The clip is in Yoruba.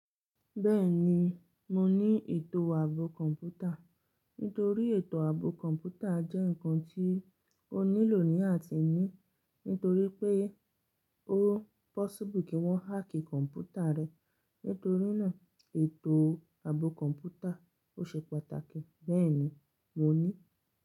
Bẹ́ẹ̀ni, mo ní ètò ààbò kọ̀ǹpútà. Nítorí ètò ààbò kọ̀ǹpútà jẹ́ ǹkan tí o nílò ní àtiní, nítorí pé ó possible kí wọ́n hack kọ̀ǹpútà rẹ, nítorí náà ètò ààbò kọ̀ǹpútà o ṣe pàtàkì. Bẹ́ẹ̀ni, mo ní.